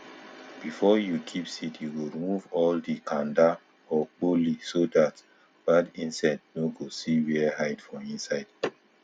before you keep seed you go remove all the kanda or kpoli so dat bad insect nor go see where hide for inside